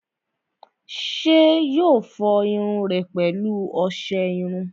ṣé yóò fọ irun rẹ̀ pẹ̀lú ọsẹ iru?